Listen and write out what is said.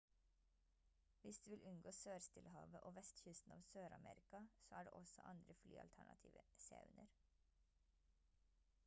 hvis du vil unngå sør-stillehavet og vestkysten av sør-amerika så er det også andre flyalternativer se under